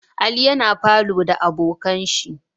Ali yana falow da abokanshi